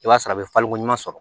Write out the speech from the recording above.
I b'a sɔrɔ a bɛ falenko ɲuman sɔrɔ